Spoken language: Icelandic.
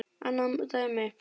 Annað dæmi.